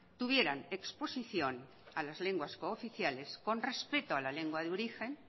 tuvieran exposición a las lenguas cooficiales con respeto a la lengua de origen